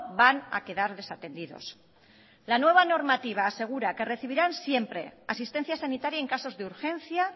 van a quedar desatendidos la nueva normativa asegura que recibirán siempre asistencia sanitaria en casos de urgencia